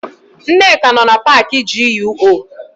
Nneka nọ na paakị GUO.